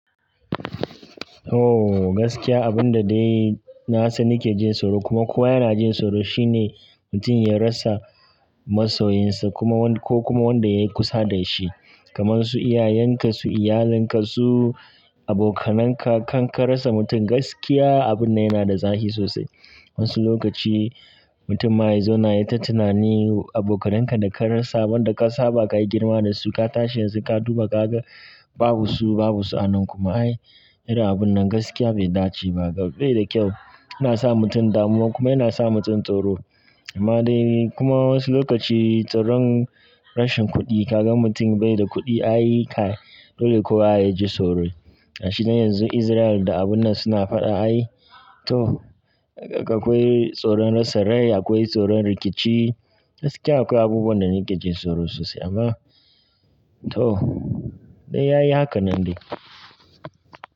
Oh gaskiya abun da dai na sani ke jin tsoro kuma kowa yana jin tsoro shine mutum ya rasa masoyinsa kuma wanda ko kuma wanda yayi kusa da shi. Kaman su iyayenka, su iyalinka, su abokananka. Kan ka rasa mutum gaskiya abun yana da zafi sosai. Wasu lokaci mutum ma yazo na yi ta tunani abokananka da ka rasa, wanda ka saba ka yi girma da su, ka tashi yanzu ka duba kaga babu su babu su a nan kuma ai irin abun nan gaskiya bai dace ba. Bai da kyau, yana sa mutum damuwa kuma yana sa mutum tsoro. Amma dai kuma wasu lokaci tsoron rashin kuɗi, ka gan mutum bai da kuɗi ai kai dole kuwa a yaji tsoro. Gashi dai yanzu Israel da abun nan suna fada ai to akwai tsoron rasa rai, akwai tsoron rikici gaskiya akwai abubuwan da nakejin tsoro sosai amma to dai yayi hakan nan dai.